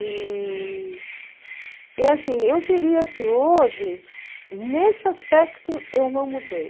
E e, assim, eu diria que hoje, nesse aspecto, eu não mudei.